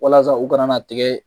Walasa u kana na tigɛ